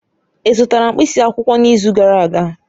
Ị zụtara mkpịsị akwụkwọ n'izu gara aga?